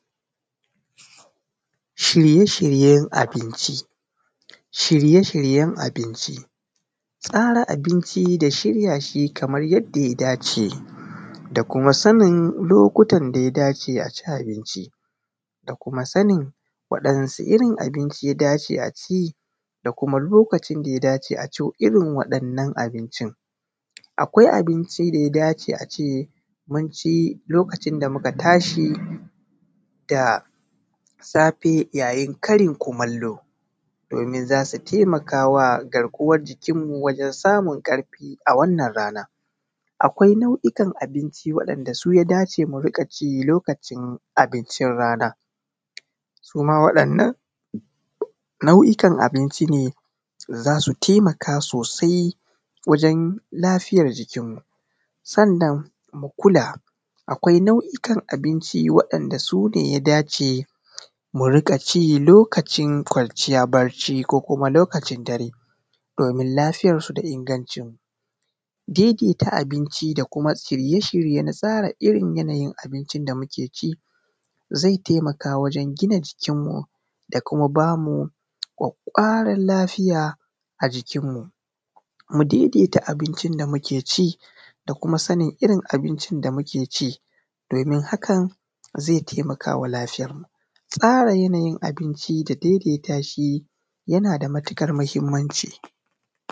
Shirye-shiryen abinci, tsara abinci da shirya shi kamar yanda ya dace, da kuma sanin lokutan da ya dace a abinci, da kuma sanin wani irin abinci ya dace a ci da kuma lokacin da ya dace a ci irin waɗannan abincin. Akwai abinci da ya dace a ci lokacin da muka tashi da safe, yayin karin kumallo, domin za su taimaka wa garkuwan jikin mu wajen samun ƙarfi a wannan rana. Akwai na'ukan abinci wanda ya dace a ci lokacin abincin rana; suma waɗannan na'ukan abincin za su taimaka sosai wajen lafiyan jikin mu. Sannan mu kula, akwai na'ukan abinci waɗaanda su ne ya dace mu riƙa ci lokacin kwanciya bacci, ko kuma lokacin dare, domin lafiyansu da inganci daidai da abincin da kuma shirye-shirye na tsara abincin da muke ci zai taimaka wajen giina jikin mu da kuma ba mu ƙwaƙwaƙwaran lafiya a jikin mu. Mu daidaita abincin da muke ci da kuma sanin abincin da muka ci domin hakan zai taimaka wa lafiyan mu tsara yanayin abinci da daidai tashi yana da matuƙar mahimmanci.